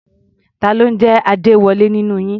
Ta ló ń jẹ́ Adéwọlé nínú yín?